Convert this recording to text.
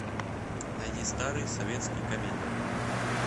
найди старые советские комедии